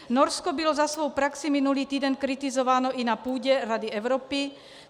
Norsko bylo za svou praxi minulý týden kritizováno i na půdě Rady Evropy.